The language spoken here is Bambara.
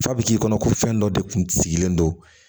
Fa bɛ k'i kɔnɔ ko fɛn dɔ de kun sigilen don